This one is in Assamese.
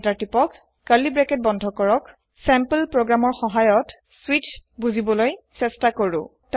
এন্টাৰ তিপক কাৰ্লী ব্ৰাকেট বন্ধ কৰক চেম্পল প্ৰোগ্ৰামৰ সহায়ত স্বিচ তু বুজিবলৈ চেষ্টা কৰক